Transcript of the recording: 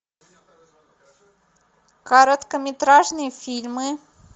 короткометражные фильмы